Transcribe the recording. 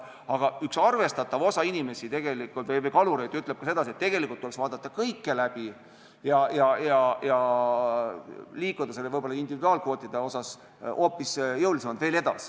Aga üks arvestatav osa kalureid ütleb, et tuleks vaadata kõik läbi ja liikuda individuaalkvootidega hoopis jõulisemalt edasi.